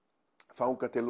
þangað til